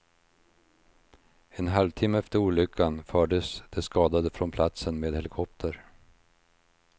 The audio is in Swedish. En halvtimme efter olyckan fördes de skadade från platsen med helikopter.